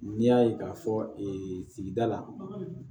N'i y'a ye k'a fɔ ee sigida la